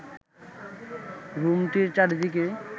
রুমটির চারদিকে